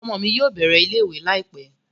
Ọmọ mi yóò bẹ̀rẹ̀ ilé ìwé láìpẹ́